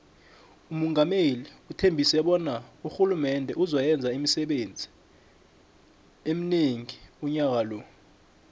umungameli uthembise bona urhulumende uzo yenza imisebenzi emonengi unyaka lo